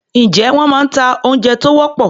Ǹjé wọ́n máa ń ta oúnjẹ tó wọ́pọ̀?